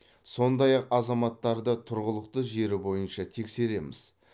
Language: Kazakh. сондай ақ азаматтарды тұрғылықты жері бойынша тексереміз